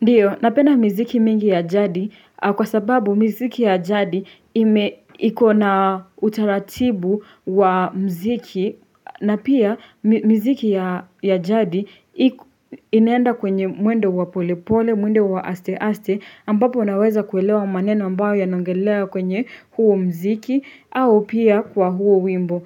Ndiyo, napenda miziki mingi ya jadi kwa sababu miziki ya jadi ime iko na utaratibu wa muziki na pia miziki ya jadi inaenda kwenye mwendo wa pole pole, mwendo wa aste aste ambapo naweza kuelewa maneno ambayo yanaongelelewa kwenye huo muziki au pia kwa huo wimbo.